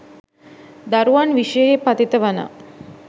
දරුවන් විෂයෙහි පතිත වන